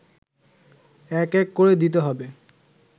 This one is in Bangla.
এক এক করে দিতে হবে